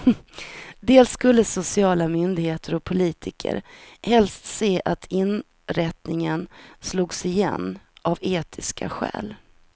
Dels skulle sociala myndigheter och politiker helst se att inrättningen slogs igen av etiska skäl.